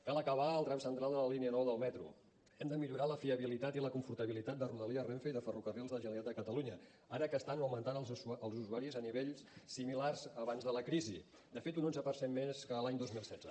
cal acabar el tram central de la línia nou del metro hem de millorar la fiabilitat i la confortabilitat de rodalies renfe i de ferrocarrils de la generalitat de catalunya ara que estan augmentant els usuaris a nivells similars abans de la crisi de fet un onze per cent més que l’any dos mil setze